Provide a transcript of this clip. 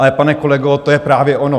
Ale pane kolego, to je právě ono.